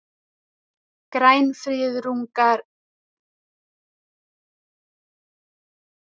Grænfriðungar fá skilorðsbundna dóma